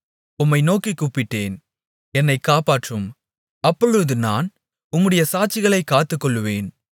உம்மை நோக்கிக் கூப்பிட்டேன் என்னைக் காப்பாற்றும் அப்பொழுது நான் உம்முடைய சாட்சிகளைக் காத்துக்கொள்ளுவேன்